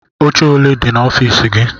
Oche ole dị n'ọfiisi gị?